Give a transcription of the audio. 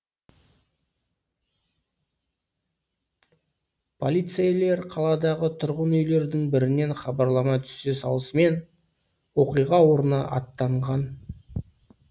полицейлер қаладағы тұрғын үйлердің бірінен хабарлама түсе салысымен оқиға орнына аттанған